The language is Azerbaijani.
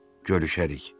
Görüşərik.